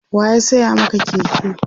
waya saya Maka Keke?